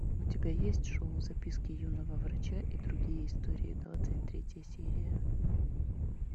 у тебя есть шоу записки юного врача и другие истории двадцать третья серия